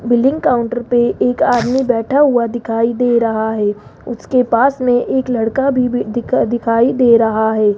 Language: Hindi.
बिलिंग काउंटर पे एक आदमी बैठा हुआ दिखाई दे रहा है उसके पास मे एक लड़का भी भी दिखाई दे रहा है।